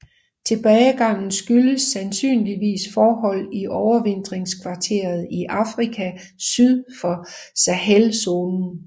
Tilbagegangen skyldes sandsynligvis forhold i overvintringskvarteret i Afrika syd for Sahelzonen